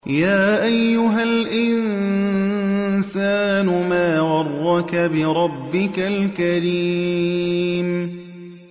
يَا أَيُّهَا الْإِنسَانُ مَا غَرَّكَ بِرَبِّكَ الْكَرِيمِ